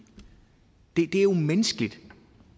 det er jo menneskeligt